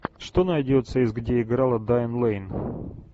что найдется из где играла дайан лэйн